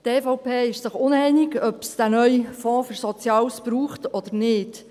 Die EVP ist sich uneinig, ob es diesen neuen Fonds für Soziales braucht oder nicht.